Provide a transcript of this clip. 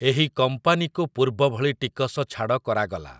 ଏହି କମ୍ପାନୀକୁ ପୂର୍ବଭଳି ଟିକସ ଛାଡ଼ କରାଗଲା ।